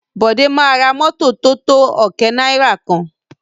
Bọ̀dé máa ra mọ́tọ̀ tótó ọ̀kẹ́ náìrà kan.